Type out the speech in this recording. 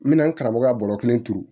N bɛna n karamɔgɔ ka bɔrɔ kelen turu